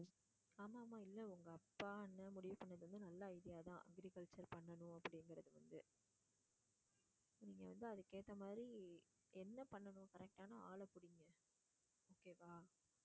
ஆமாம் ஆமாம் இல்ல உங்க அப்பா அண்ணன் முடிவு பண்ணது நல்ல idea தான் agriculture பண்ணனும் அப்படிங்குறது நீங்க வந்து அதுக்கு ஏத்த மாதிரி என்ன பண்ணனும் correct ஆன ஆள புடிங்க okay வா?